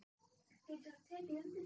Getur þú tekið undir það?